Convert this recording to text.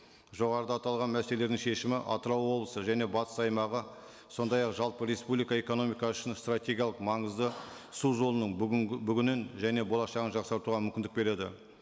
жоғарыда аталған шешімі атырау облысы және батыс аймағы сондай ақ жалпы республика экономикасы үшін стратегиялық маңызды су жолының бүгінгі бүгіннен және болашығын жақсартуға мүмкіндік береді